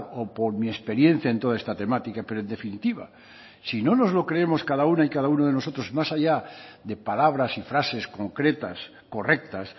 o por mi experiencia en toda esta temática pero en definitiva si no nos lo creemos cada una y cada uno de nosotros más allá de palabras y frases concretas correctas